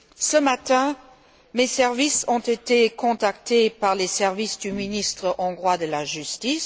Ce matin, mes services ont été contactés par les services du ministre hongrois de la justice.